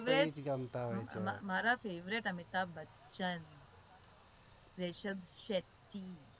મારા favorite અમિતાભ બચ્ચન